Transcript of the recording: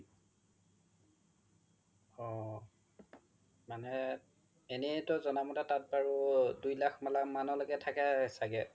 অ এনেতো জ্না ম্তে তাত বাৰু দুই লাখ মানলৈকে থাকে চাগে